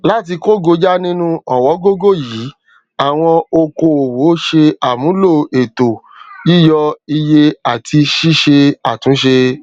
láti kógojá nínu ọwọ́ngógó yìí àwọn okòòwò ṣe àmúlò ètò yíyọ iye àti ṣíṣe atúnṣe